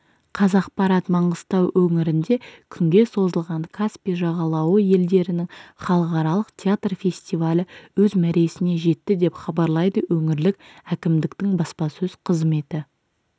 қазақпарат маңғыстау өңірінде күнге созылған каспий жағалауы елдерінің халықаралық театр фестивалі өз мәресіне жетті деп хабарлайды өңірлік әкімдіктің баспасөз қызметі